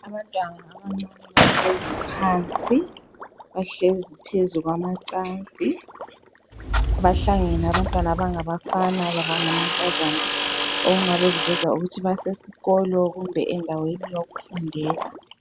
Abantwana abancane bahlezi phansi bahlezi phezu kwamacansi bahlangene abantwana abangabafana lamankazana okungabe kuveza ukuthi basesikolo kumbe endaweni yokufundela.